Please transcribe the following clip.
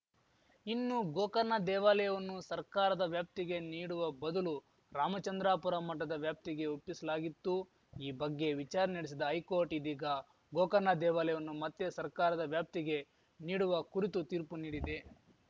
ಇನ್ನು ಗೋಕರ್ನ ದೇವಾಲಯವನ್ನು ಸರ್ಕಾರದ ವ್ಯಾಪ್ತಿಗೆ ನೀಡುವ ಬದಲು ರಾಮಚಂದ್ರಾಪುರ ಮಠದ ವ್ಯಾಪ್ತಿಗೆ ಒಪ್ಪಿಸಲಾಗಿತ್ತು ಈ ಬಗ್ಗೆ ವಿಚಾರಣೆ ನಡೆಸಿದ ಹೈಕೋರ್ಟ್‌ ಇದೀಗ ಗೋಕರ್ಣ ದೇವಾಲಯವನ್ನು ಮತ್ತೆ ಸರ್ಕಾರದ ವ್ಯಾಪ್ತಿಗೆ ನೀಡುವ ಕುರಿತು ತೀರ್ಪು ನೀಡಿದೆ